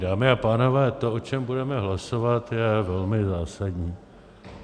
Dámy a pánové, to, o čem budeme hlasovat, je velmi zásadní.